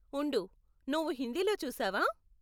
ఉండు, నువ్వు హిందీలో చూసావా?